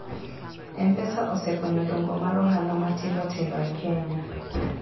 mpesa osekonyo dongo mar ohala matindo tindo e kenya